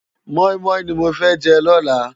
Mòimòi ni mó fè jè lòlá